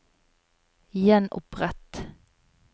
gjenopprett